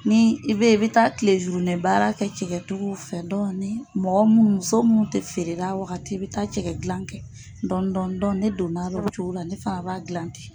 Ni i bɛ i bɛ taa kile baara kɛ cɛkɛ tigiw fɛ, dɔɔni mɔgɔ munnu muso munnu tɛ feerela a waagati i bɛ taa cɛkɛ dila kɛ dɔɔni dɔɔni ne donna la o cogo la, ne fana b'a dilan ten.